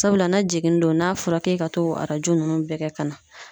Sabula n'a jiginni don , n'a fɔra k'e ka t'o arajo nunnu bɛɛ kɛ ka na